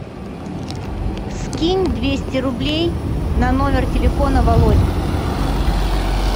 скинь двести рублей на номер телефона володи